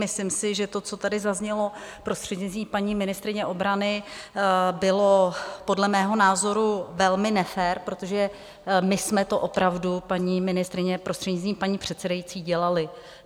Myslím si, že to, co tady zaznělo prostřednictvím paní ministryně obrany, bylo podle mého názoru velmi nefér, protože my jsme to opravdu, paní ministryně prostřednictvím paní předsedající, dělali.